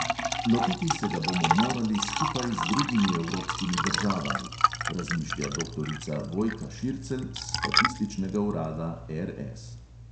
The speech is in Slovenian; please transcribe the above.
"Lotiti se ga bomo morali skupaj z drugimi evropskimi državami" razmišlja doktorica vojka šircelj s statističnega urada RS.